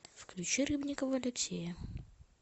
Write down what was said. включи рыбникова алексея